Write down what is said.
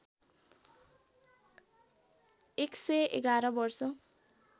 १११ वर्ष